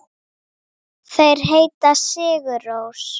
Þeir heita Sigur Rós.